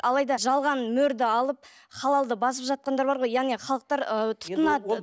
алайда жалған мөрді алып халалды басып жатқандар бар ғой яғни халықтар ы тұтынады